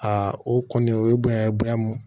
Aa o kɔni o ye bonya bonya ye